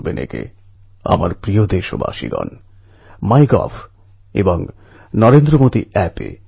এতসব যুবক নিজের ঘর ছেড়ে জীবনকে এক নূতন পথে এগিয়ে নিয়ে যেতে বেরিয়ে পরে